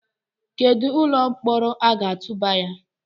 Kedu ụlọ mkpọrọ a ga-atụba ya?